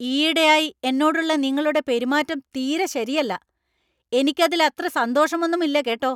ഈയിടെയായി എന്നോടുള്ള നിങ്ങളുടെ പെരുമാറ്റം തീരെ ശരിയല്ല, എനിക്കതിലത്ര സന്തോഷമൊന്നും ഇല്ല കേട്ടോ.